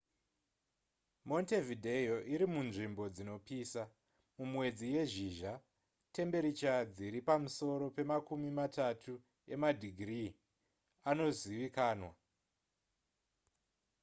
montevideo irimunzvimbo dzinopisa mumwedzi yezhizha tembiricha dziri pamusoro pemakumi matatu emadhigiri anozivikanwa